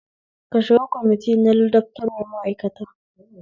Ka shiga cikin kwamiti na ladabtarwa ma'aikata